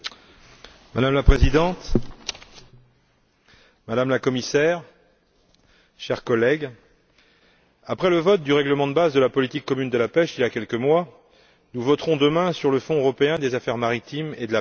Madame la Présidente, Madame la Commissaire, chers collègues, après le vote du règlement de base de la politique commune de la pêche, il y a quelques mois, nous voterons demain sur le Fonds européen des affaires maritimes et de la pêche.